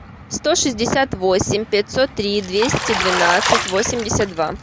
сто шестьдесят восемь пятьсот три двести двенадцать восемьдесят два